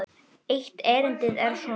Eitt erindið er svona